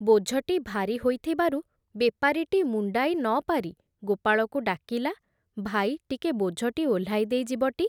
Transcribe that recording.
ବୋଝଟି ଭାରି ହୋଇ ଥିବାରୁ ବେପାରୀଟି ମୁଣ୍ଡାଇ ନ ପାରି ଗୋପାଳକୁ ଡାକିଲା, ଭାଇ ଟିକେ ବୋଝଟି ଓହ୍ଲାଇ ଦେଇ ଯିବଟି ।